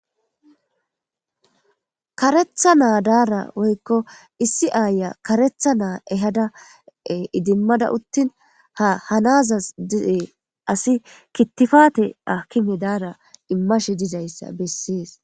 karetha naa daara woykko issi aaya karetha naa ehada idimmada uttin ha hanazas dize asi kittifate akime daara immashe dizayssa bessees